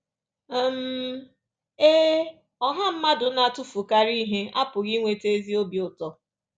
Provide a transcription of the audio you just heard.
um Ee, ọha mmadụ na-atụfukarị ihe apụghị iweta ezi obi ụtọ.